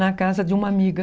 Na casa de uma amiga.